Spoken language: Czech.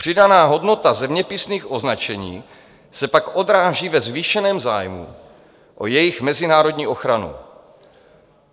Přidaná hodnota zeměpisných označení se pak odráží ve zvýšeném zájmu o jejich mezinárodní ochranu.